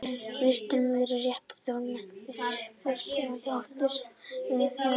Viðstaddur var í réttinum Þórmundur Vigfússon, verkstjóri hins látna, sem vísaði á fjármunina.